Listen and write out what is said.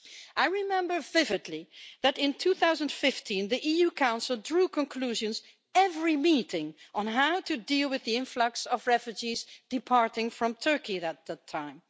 I remember vividly that in 2015 the European Council drew conclusions at every meeting on how to deal with the influx of refugees departing from Turkey at that time.